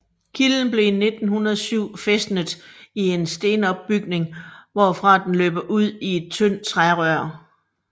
Kilden blev i 1907 fæstnet i en stenopbygning hvorfra den løber ud i et tyndt trærør